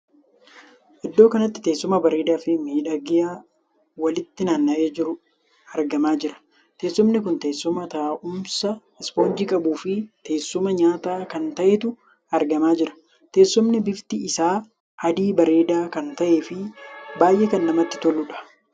Iddoo kanatti teessuma bareedaa Fi miidhagaa walitti naanna'ee jiruu argamaa jira. teessumni kun teessuma taa'umsaa ispoonjii qabu fi teessuma nyaataa kan taheetu argamaa jira. teessumni bifti isaa adii bareedaa kan tahee fi baay'ee kan namatti toluudha.